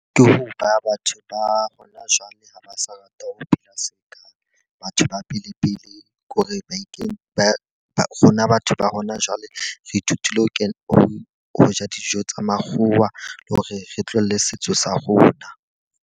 Ke ho ba batho ba hona jwale ha ba sa rata ho phela seka batho ba pele pele. Ke hore ba ikenye ba rona batho ba hona jwale re ithutile ho kena ho ho ja dijo tsa makgowa le hore re tlole setso sa rona.